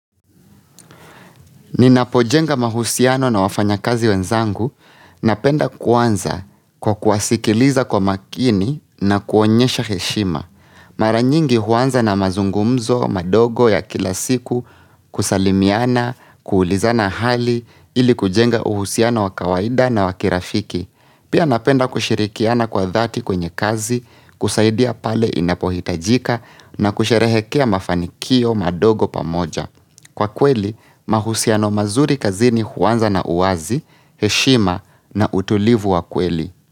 Ninapojenga mahusiano na wafanyakazi wenzangu napenda kuanza kwa kuwasikiliza kwa makini na kuonyesha heshima mara nyingi huanza na mazungumzo madogo ya kila siku kusalimiana kuulizana hali ili kujenga uhusiano wa kawaida na wakirafiki pia napenda kushirikiana kwa dhati kwenye kazi kusaidia pale inapohitajika na kusherehekea mafanikio madogo pamoja kwa kweli mahusiano mazuri kazini huanza na uwazi heshima na utulivu wa kweli.